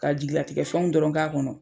Ka jigilatigɛ fɛnw dɔrɔn k'a kɔnɔ.